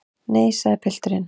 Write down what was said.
Nei, sagði pilturinn.